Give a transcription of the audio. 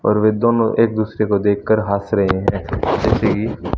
और वे दोनों एक दूसरे को देख कर हंस रही है।